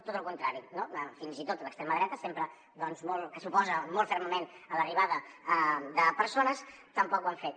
tot el contrari fins i tot l’extrema dreta que s’oposa molt fermament a l’arribada de persones tampoc ho ha fet